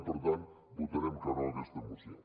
i per tant votarem que no a aquesta moció